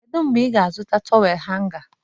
Kedu mgbe ị ga-azụta tọwel hanga?